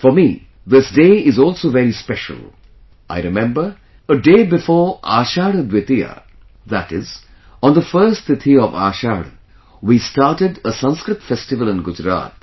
For me this day is also very special I remember, a day before Ashadha Dwitiya, that is, on the first Tithi of Ashadha, we started a Sanskrit festival in Gujarat,